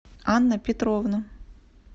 анна петровна